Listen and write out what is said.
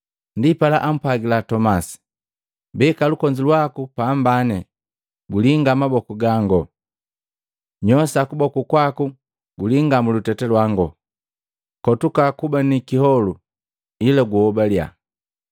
Ndipala ampwagila Tomasi, “Beka lukonzi lwaku pambani gulinga maboku gangu, nyosa kuboku kwaku gulinga muluteta lwangu. Kotuka kuba ni kiholu, ila guhobaliya.”